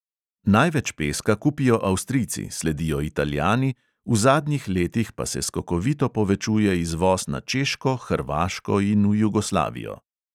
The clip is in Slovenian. Največ peska kupijo avstrijci, sledijo italijani, v zadnjih letih pa se skokovito povečuje izvoz na češko, hrvaško in v jugoslavijo.